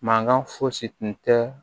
Mankan fosi tun tɛ